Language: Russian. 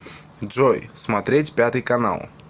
джой смотреть пятый канал